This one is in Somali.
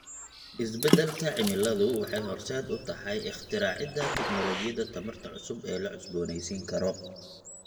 Isbeddelka cimiladu waxay horseed u tahay ikhtiraacida tignoolajiyada tamarta cusub ee la cusboonaysiin karo.